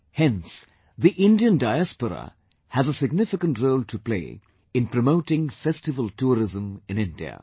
Hence, the Indian Diaspora has a significant role to play in promoting festival tourism in India